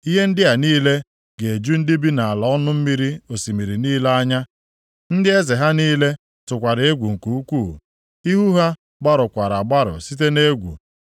Ihe ndị a niile ga-eju ndị bi nʼala ọnụ mmiri osimiri niile anya. Ndị eze ha niile tụkwara egwu nke ukwuu; ihu ha gbarụkwara agbarụ site nʼegwu.